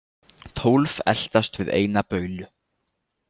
Tólf eltast við eina baulu.